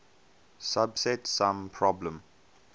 subset sum problem